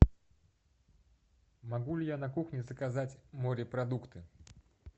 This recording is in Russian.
могу ли я на кухне заказать морепродукты